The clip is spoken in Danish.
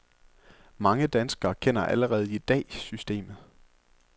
Mange danskere kender allerede i dag systemet.